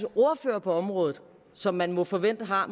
ordfører på området som man må forvente har